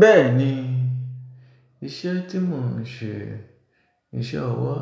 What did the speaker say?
Bẹ́ẹ̀ni, iṣẹ́ tí mò ń ṣe iṣẹ́ ọwọ́